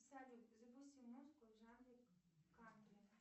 салют запусти музыку в жанре кантри